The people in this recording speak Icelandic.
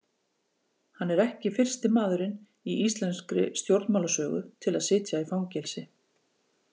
Hann er ekki fyrsti maðurinn í íslenskri stjórnmálasögu til að sitja í fangelsi.